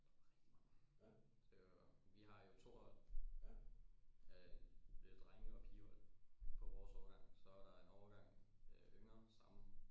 Der var rigtig mange vi har jo to hold øh drenge og pige hold på vores årgang så er der en årgang yngre samme